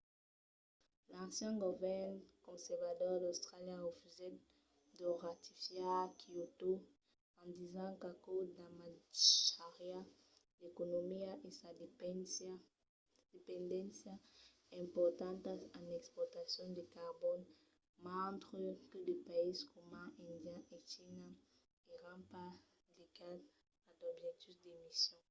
l’ancian govern conservador d’austràlia refusèt de ratificar kyoto en disent qu'aquò damatjariá l’economia e sa dependéncia importantas en exportacions de carbon mentre que de païses coma índia e china èran pas ligats a d'objectius d'emissions